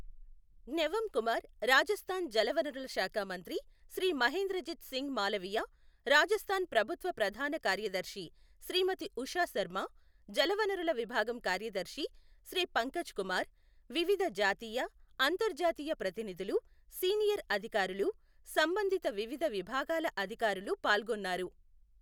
ఙవం కుమార్, రాజస్థాన్ జలవనరుల శాఖ మంత్రి శ్రీ మహేంద్రజీత్ సింగ్ మాలవియ, రాజస్థాన్ ప్రభుత్వ ప్రధాన కార్యదర్శి శ్రీమతి ఉషా శర్మ, జలవనరుల విభాగం కార్యదర్శి శ్రీ పంకజ్ కుమార్, వివిధ జాతీయ, అంతర్జాతీయ ప్రతినిధులు, సీనియర్ అధికారులు, సంబంధిత వివిధ విభాగాల అధికారులు పాల్గొన్నారు.